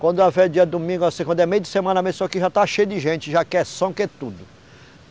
Quando é feira dia de domingo, assim quando é meio de semana, amanheceu aqui já está cheio de gente, já quer som, quer tudo.